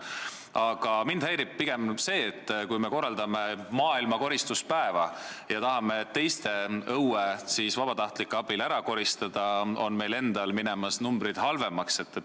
Aga mind häirib pigem see, et samal ajal, kui me korraldame maailmakoristuspäeva ja tahame teiste õue vabatahtlike abil ära koristada, on meil endal minemas numbrid halvemaks.